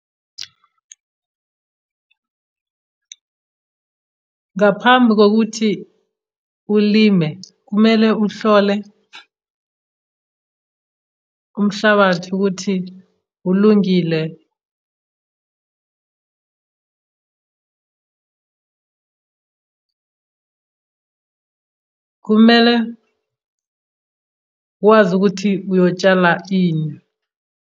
Ngaphambi kokuthi ulime kumele uhlole umhlabathi ukuthi ulungile. Kumele wazi ukuthi uyotshala ini.